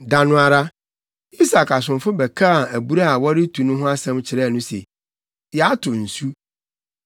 Da no ara, Isak asomfo bɛkaa abura a na wɔretu no ho asɛm kyerɛɛ no se, “Yɛato nsu.”